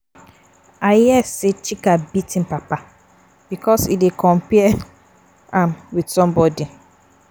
I hear say Chika beat im papa because e dey compare um am with somebody